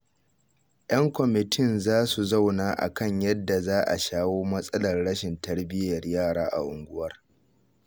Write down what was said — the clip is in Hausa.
Yan kwamitin za su zauna a kan yadda za a shawo matsalar rashin tarbiyyar yara a unguwar